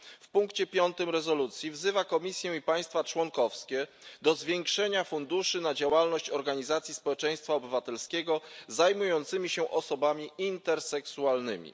W punkcie piątym rezolucji wzywa Komisję i państwa członkowskie do zwiększenia funduszy na działalność organizacji społeczeństwa obywatelskiego zajmujących się osobami interseksualnymi.